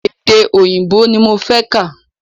Èdè òyìnbó ní mo fẹ́ kà.